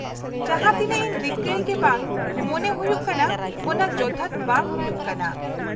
-ᱡᱟᱦᱟᱸ ᱛᱤᱱᱟᱹᱜ ᱤᱧ ᱨᱤᱠᱟᱹᱭ ᱜᱮ ᱵᱟᱝ ᱢᱚᱱᱮ ᱦᱩᱭᱩᱜ ᱠᱟᱱᱟ ᱚᱱᱟ ᱡᱚᱛᱷᱟᱛ ᱵᱟᱝ ᱦᱩᱭᱩᱜ ᱠᱟᱱᱟ ᱾